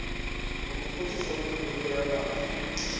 nokuphuhliswa kwemibutho yamafama